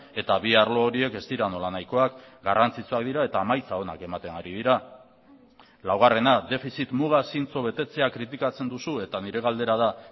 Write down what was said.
eta bi arlo horiek ez dira nolanahikoak garrantzitsuak dira eta emaitza onak ematen ari dira laugarrena defizit muga zintzo betetzea kritikatzen duzue eta nire galdera da